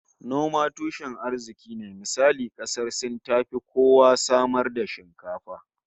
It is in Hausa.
Noma tushen arziki ne, misali kasar Sin tafi kowa samar da shinkafa